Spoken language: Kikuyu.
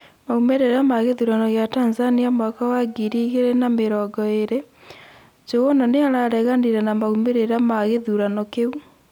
maumĩrĩra ma gĩthũrano gĩa Tanzania mwaka wa ngiri igĩrĩ na mĩrongo ĩrĩ: njuguna nĩarareganirĩ na maumĩrĩra ma gĩthũrano kĩu